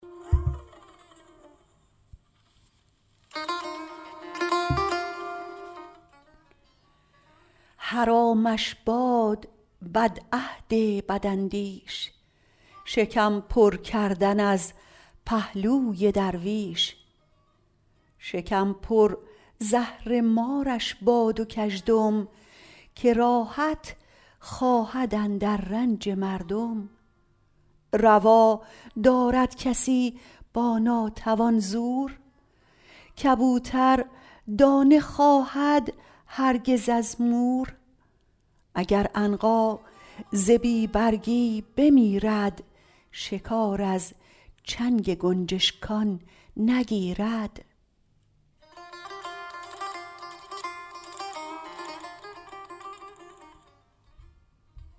حرامش باد بدعهد بداندیش شکم پرکردن از پهلوی درویش شکم پر زهرمارش بود و کژدم که راحت خواهد اندر رنج مردم روا دارد کسی با ناتوان زور کبوتر دانه خواهد هرگز از مور اگر عنقا ز بی برگی بمیرد شکار از چنگ گنجشکان نگیرد